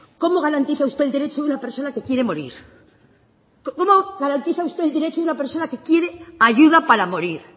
cómo garantiza usted el derecho de una persona que quiere morir cómo garantiza usted el derecho de una persona que quiere ayuda para morir